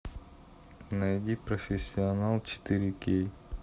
найди профессионал четыре кей